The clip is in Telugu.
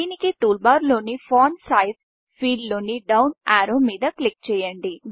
దీనికి టూల్బార్లోని ఫాంట్ Sizeఫాంట్ సైజ్ ఫీల్డ్ లోని డౌన్ యారో మీద క్లిక్ చేయండి